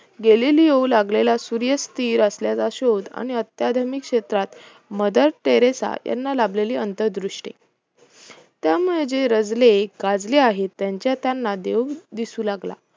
गॅलिलिओला लागलेला सूर्य स्थिर असल्याचा शोध आणि आत्यधमीक क्षेत्रात मदर टेरेसा यांना लाभलेली अंतरदृष्टि त्यामुळे जे रांजले गांजले आहेत त्यांच्यात त्यांना देव दिसू लागला